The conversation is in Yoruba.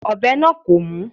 Ọ̀bẹ náà kò mú.